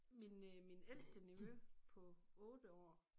Min øh min ældste nevø på 8 år